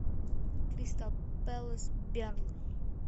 кристал пэлас бернли